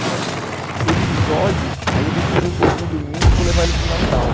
Olha, episódio, aí eu vou fugir um pouco do domingo e vou levar ele para o Natal.